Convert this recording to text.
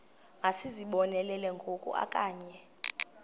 masizibonelele ngoku okanye